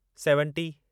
seventy